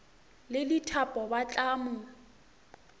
le dithapo ba tla mo